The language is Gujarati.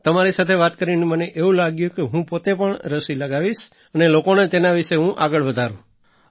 તમારી સાથે વાત કરીને મને એવું લાગ્યું કે હું પોતે પણ રસી લગાવીશ અને લોકોને તેના વિશે હું આગળ વધારું